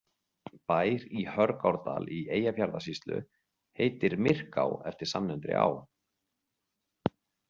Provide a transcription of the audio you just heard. Bær í Hörgárdal í Eyjafjarðarsýslu heitir Myrká eftir samnefndri á.